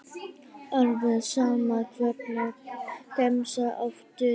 Alveg sama Hvernig gemsa áttu?